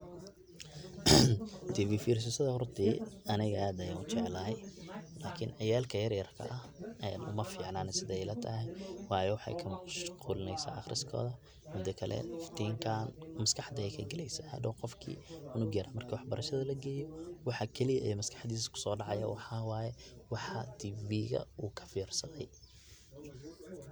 Tivi firsashada horta aniga aad ayan ujeclahay lakin ciyarka yaryarka ah umaficna aniga sida ilatahay wayo wexey kamaqshqulineysa aqriskoda mida kale iftinkan maskaxda ayey kagaleysa hadow qofki, cunuga yar marki wax barashada lageyo waxa kaliya ee maskaxdisa kusodacaya waxa waye waxa tiviga uu kafirsaday.